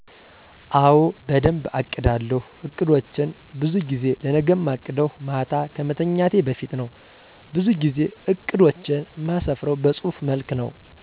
አወ በደንብ አቅዳለው። አቅዶቸን በዙ ጊዜ ለነገ እማቅደው ማታ ከመተኛቴ በፊት ነው በዙ ጊዜ እቅዶቸን እማስፍርው በጹህፍ መልክ ነው።